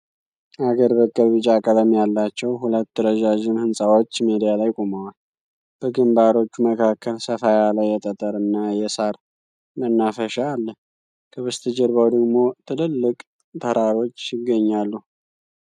አገር በቀል ቢጫ ቀለም ያላቸው ሁለት ረዣዥም ሕንፃዎች ሜዳ ላይ ቆመዋል። በግንባሮቹ መካከል ሰፋ ያለ የጠጠር እና የሣር መናፈሻ አለ። ከበስተጀርባው ደግሞ ትልልቅ ተራሮች ይገኛሉ።